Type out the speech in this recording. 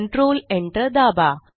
control Enter दाबा